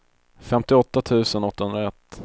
femtioåtta tusen åttahundraett